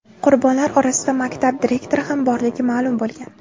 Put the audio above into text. Qurbonlar orasida maktab direktori ham borligi ma’lum bo‘lgan.